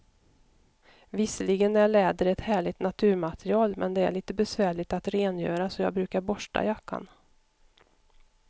Visserligen är läder ett härligt naturmaterial, men det är lite besvärligt att rengöra, så jag brukar borsta jackan.